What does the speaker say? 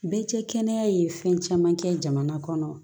Bɛɛ cɛ kɛnɛya ye fɛn caman kɛ jamana kɔnɔ